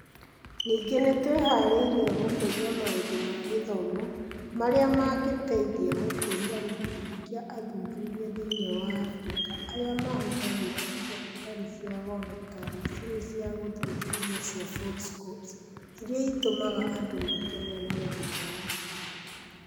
Ningĩ nĩ twĩharĩirie gũkũria maũndũ ma gĩthomo marĩa mangĩteithia gũkũria gĩkundi kĩa athuthuria thĩinĩ wa Africa arĩa mahũthagĩra indo itarĩ cia goro ta macini cia gũthuthuria cia foldscopes iria itũmaga andũ makenerere gĩthomo.